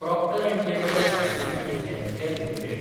Procter & Gamble Hygiene and Health Care limited